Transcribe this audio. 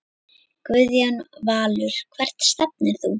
Guðjón Valur Hvert stefnir þú?